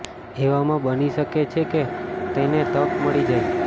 એવામાં બની શકે છે કે તેને તક મળી જાય